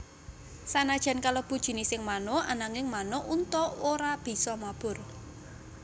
Sanajan kalebu jinising manuk ananging manuk unta ora bisa mabur